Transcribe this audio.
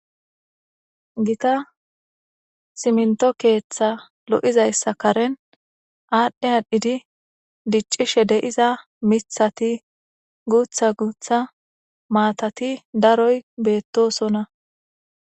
gita siminto keeththa lo7izayssa karen aadhdhe aadhidi diccishe deiza mithati guutha guutha maatati daroy beettosonna